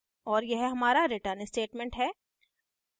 और यह हमारा return statement है